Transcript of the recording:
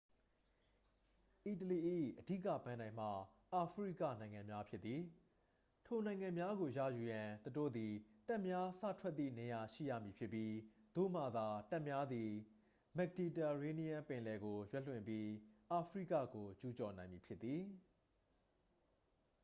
အီတလီ၏ အဓိက ပန်းတိုင်မှာ အာဖရိကနိုင်ငံများဖြစ်သည် ထိုနိုင်ငံများကို ရယူရန် သူတို့သည် တပ်များ စထွက်သည့်နေရာရှိရမည်ဖြစ်ပြီး သို့မှသာ တပ်များသည် မက်ဒီတာရေးနီးယန်းပင်လယ်ကို ရွက်လွှင့်ပြီး အာဖရိကကိုကျူးကျော်နိုင်မည်ဖြစ်သည်